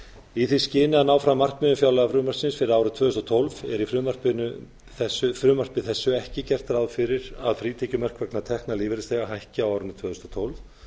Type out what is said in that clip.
í því skyni að ná fram markmiðum fjárlagafrumvarpsins fyrir árið tvö þúsund og tólf er í frumvarpinu ekki gert ráð fyrir að frítekjumörk vegna tekna lífeyrisþega hækki á árinu tvö þúsund og tólf